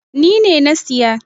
Ni ne na siya.